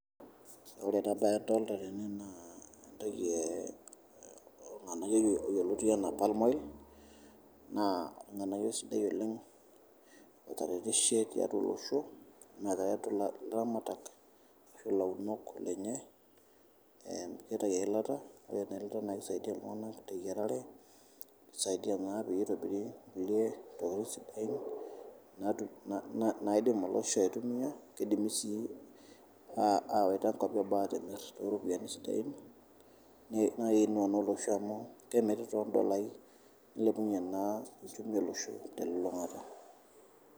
Ore taata adolta entoki tene naa entoki lng'anayo yeloti anaa palm oil nss lng'anayo sidai oleng etaretishe teatua losho neat etulak laramatak asho launok lenye neitai ilata neton naake eisaidia ltunganak te yerare, nesaidia naa peitobiri kule tokitin sidain naidim losho aitumiakeidimi sii awata nkopi eboo aatimir sidain naa naaein olosho amu kemiri too ndolai neilepunye naa ushumi e loshoo te lulungata.